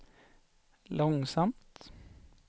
långsamt